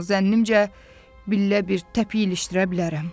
Amma zənnimcə, billə bir təpik ilişdirə bilərəm.